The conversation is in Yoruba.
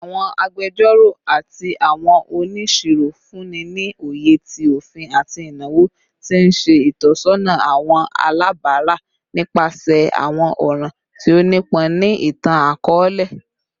Awọn agbẹjọro ati awọn oniṣiro funni ni oye ti ofin ati inawo, ti n ṣe itọsọna awọn alabara nipasẹ awọn ọran ti o nipọn ni itan-akọọlẹ